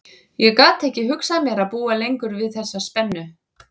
Ég gat ekki hugsað mér að búa lengur við þessa spennu.